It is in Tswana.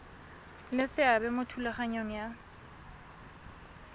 le seabe mo thulaganyong ya